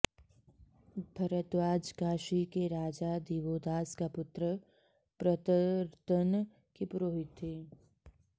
भरद्वाज काशी के राजा दिवोदास का पुत्र प्रतर्दन के पुरोहित थे